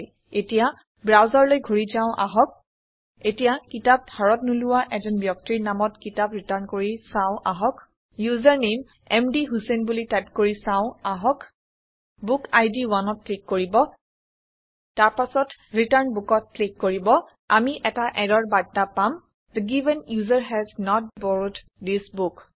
এতিয়া ব্ৰাউচাৰলৈ ঘূৰি যাও আহক এতিয়া কিতাপ ধাৰত নোলোৱা এজন ব্যক্তিৰ নামত কিতাপ ৰিটাৰ্ণ কৰি চাও আহক ইউচাৰনামে মধুচেইন বুলি টাইপ কৰি চাও আহক বুক ইদ 1ত ক্লিক কৰিব তাৰ পাছত ৰিটাৰ্ণ Bookত ক্লিক কৰিব আমি এটা ইৰৰ বাৰ্তা পাম the given user has not borrowed this book